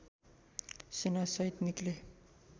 सेनासहित निक्ले